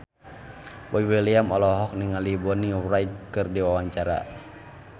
Boy William olohok ningali Bonnie Wright keur diwawancara